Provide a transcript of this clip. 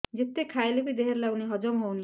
ଯେତେ ଖାଇଲେ ବି ଦେହରେ ଲାଗୁନି ହଜମ ହଉନି